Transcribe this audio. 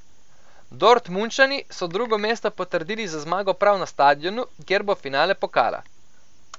Dortmundčani so drugo mesto potrdili z zmago prav na stadionu, kjer bo finale pokala.